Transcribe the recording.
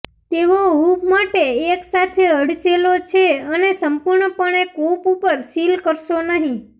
તેઓ હૂંફ માટે એકસાથે હડસેલો છે અને સંપૂર્ણપણે કૂપ ઉપર સીલ કરશો નહીં